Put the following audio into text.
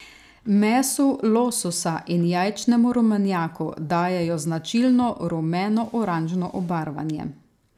Mesu lososa in jajčnem rumenjaku dajejo značilno rumenooranžno obarvanje.